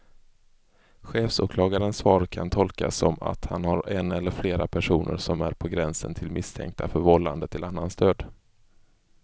Chefsåklagarens svar kan tolkas som att han har en eller flera personer som är på gränsen till misstänkta för vållande till annans död.